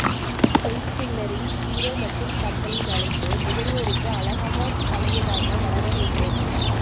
pen ஸ்டில்லரின் hero மற்றும் கம்பெலின் அழைப்பு நுகர்வோருக்கு அழகாக பழையதாக வளர வேண்டும்